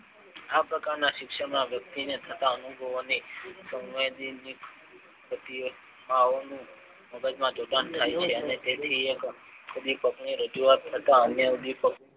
આ પ્રકારના શિક્ષણ માં વ્યક્તિને સૌ જોવાને મગજમાં જોડાણ થાય છે અને તેથી એક ઉદ્વિકાક ની રજુવાત થતા અન્ય ઉદ્વિપકો